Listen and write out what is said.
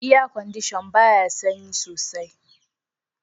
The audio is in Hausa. "Air condition" baya sanyi soaI.